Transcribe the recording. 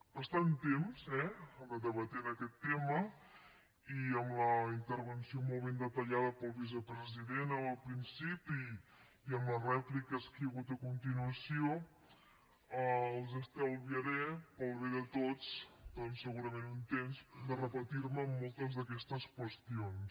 bastant temps eh que debatem aquest tema i amb la intervenció molt ben detallada pel vicepresident en el principi i amb les rèpliques que hi ha hagut a continuació els estalviaré pel bé de tots doncs segurament un temps de repetir me en moltes d’aquestes qüestions